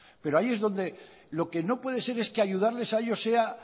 pero lo que no puede ser es que ayudarles a ellos sea